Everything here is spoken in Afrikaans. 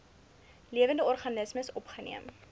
lewende organismes opgeneem